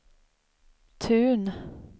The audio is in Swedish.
Tun